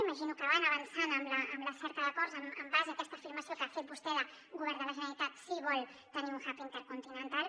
imagino que van avançant en la cerca d’acords en base a aquesta afirmació que ha fet vostè que el govern de la generalitat sí que vol tenir un hub intercontinental